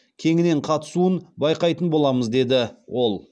кеңінен қатысуын байқайтын боламыз деді ол